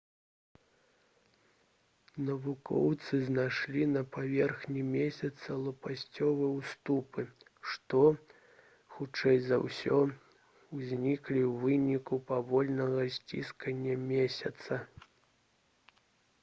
навукоўцы знайшлі на паверхні месяца лопасцевыя ўступы што хутчэй за ўсё узніклі ў выніку павольнага сціскання месяца